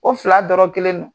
O fila dɔrɔ kelen don